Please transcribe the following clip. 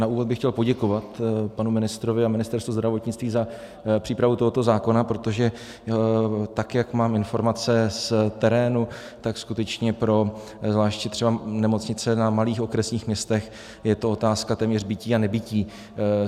Na úvod bych chtěl poděkovat panu ministrovi a Ministerstvu zdravotnictví za přípravu tohoto zákona, protože tak jak mám informace z terénu, tak skutečně pro zvláště třeba nemocnice na malých okresních městech je to otázka téměř bytí a nebytí.